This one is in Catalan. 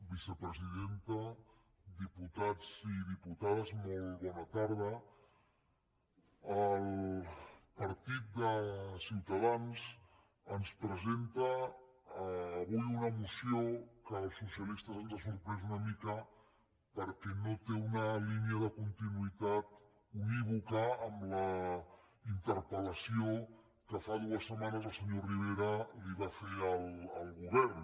vicepresidenta diputats i diputades molt bona tarda el partit de ciutadans ens presenta avui una moció que als socialistes ens ha sorprès una mica perquè no té una línia de continuïtat unívoca amb la interpel·el senyor rivera li va fer al govern